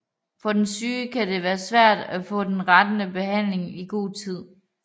For den syge kan det være svært at få den rette behandling i god tid